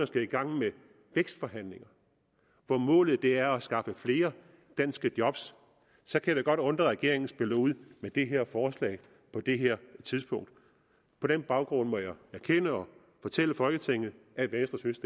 skal i gang med vækstforhandlinger hvor målet er at skaffe flere danske jobs og så kan det godt undre at regeringen spiller ud med det her forslag på det her tidspunkt på den baggrund må jeg erkende og fortælle folketinget at venstre synes